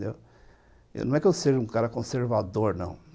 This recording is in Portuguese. Não é que eu seja um cara conservador, não.